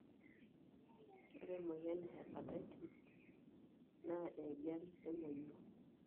ore emoyian e hepatitis na enjian emonyua,